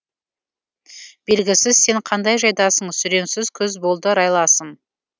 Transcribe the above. белгісіз сен қандай жайдасың сүреңсіз күз болды райласым